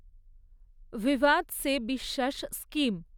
ভিভাদ সে বিশ্বাস স্কিম